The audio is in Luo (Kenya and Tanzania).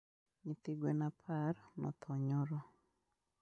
Nyithi gwen apar nothoo nyoro